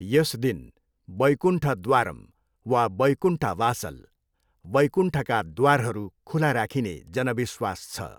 यस दिन वैकुण्ठद्वारम् वा वैकुण्ठ वासल, 'वैकुण्ठका द्वारहरू' खुला राखिने जनविश्वास छ।